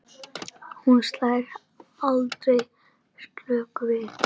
Hún slær aldrei slöku við.